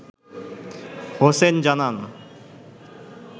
হোসেন জানান